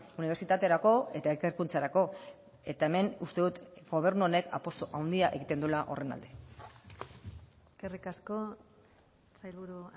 unibertsitaterako eta ikerkuntzarako eta hemen uste dut gobernu honek apustu handia egiten duela horren alde eskerrik asko sailburu